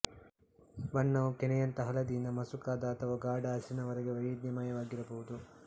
ಬಣ್ಣವು ಕೆನೆಯಂಥ ಹಳದಿಯಿಂದ ಮಸುಕಾದ ಅಥವಾ ಗಾಢ ಹಸಿರಿನವರೆಗೆ ವೈವಿಧ್ಯಮಯವಾಗಿರಬಹುದು